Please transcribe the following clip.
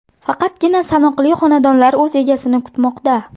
Faqatgina sanoqli xonadonlar o‘z egasini kutmoqda.